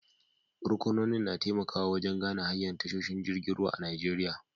Ruƙunonin na taimakawa wajen gane hanyar tashoshin jirgin ruwa a Najeriya.